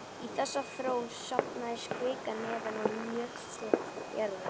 Í þessa þró safnast kvika neðan úr möttli jarðar.